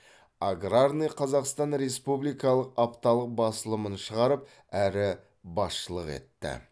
аграрный казахстан республикалық апталық басылымын шығарып әрі басшылық етті